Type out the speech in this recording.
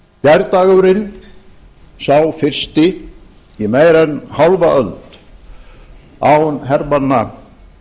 gærdagurinn sá fyrsti í meira en hálfa öld án hermanna